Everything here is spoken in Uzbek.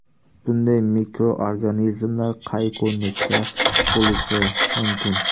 Bunday mikroorganizmlar qay ko‘rinishda bo‘lishi mumkin?